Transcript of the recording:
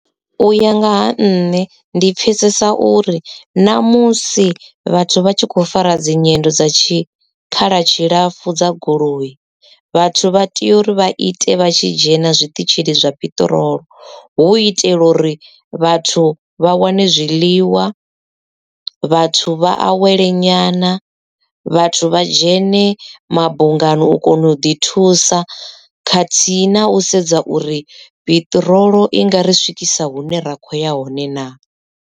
Uya nga ha nṋe ndi pfesesa uri namusi vhathu vha tshi khou fara dzi nyendo dza tshi tshikhala tshilapfu dza goloi vhathu vha tea uri vha ite vha tshi dzhena zwiṱitshini zwa peṱirolo hu itela uri vhathu vha wane zwiḽiwa vhathu vha awele nyana vhathu vha dzhene mabungani u kona u ḓi thusa khathihi na u sedza uri piṱirolo i nga ri swikisa hune ra kho ya hone naa?